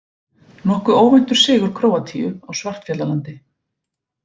Nokkuð óvæntur sigur Króatíu á Svartfjallalandi